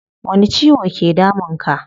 Wani ciwo ke damun ka?